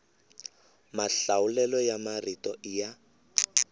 mahlawulelo ya marito i ya